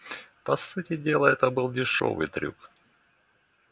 по сути дела это был дешёвый трюк